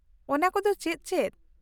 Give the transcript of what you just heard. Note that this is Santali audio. ᱚᱱᱟᱠᱚᱫᱚ ᱪᱮᱫ ᱪᱮᱫ ?